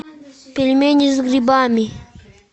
пельмени с грибами